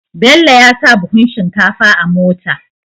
Bello yasa buhun shinkafa a mota